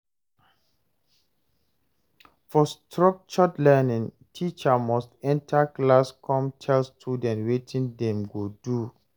For structured learning, teacher must enter class come tell student wetin dem go do